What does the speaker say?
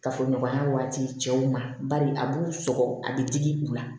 Kafoɲɔgɔnya waati cɛw ma bari a b'u sɔgɔ a bɛ digi u la